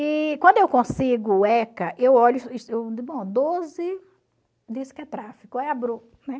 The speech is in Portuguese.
E quando eu consigo o ECA, eu olho doze diz que é tráfico